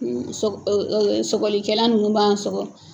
Sɔgɔ sɔgɔlikɛla ninnu b'an sɔgɔ